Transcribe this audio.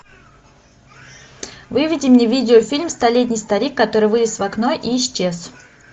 выведи мне видеофильм столетний старик который вылез в окно и исчез